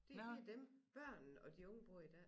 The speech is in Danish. Det det dem børnene og de unge bruger i dag